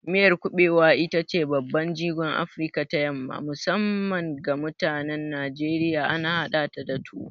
Miyar kuɓewa ita ce babban jigon a Afirka ta yamma, musamman ga mutanen Najeriya, ana hadata da tuwo.